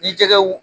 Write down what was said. Ni jɛgɛw